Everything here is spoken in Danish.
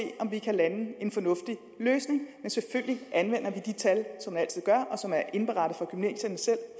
om vi kan lande en fornuftig løsning men selvfølgelig anvender vi de tal som man altid gør og som er indberettet fra gymnasierne selv